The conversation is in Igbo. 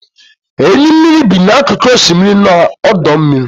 Enyi mmiri bi n'akụkụ osimiri na ọdọ mmiri.